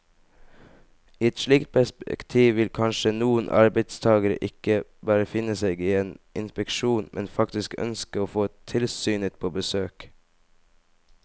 I et slikt perspektiv vil kanskje noen arbeidstagere ikke bare finne seg i en inspeksjon, men faktisk ønske å få tilsynet på besøk.